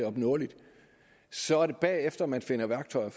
opnåeligt så er det bagefter man finder værktøjer